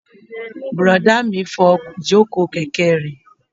Bùrọ̀dá mi n fọ ìjòkó kẹ̀kẹ́ rẹ̀